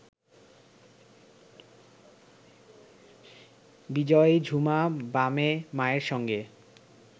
বিজয়ী ঝুমা বামে মায়ের সঙ্গে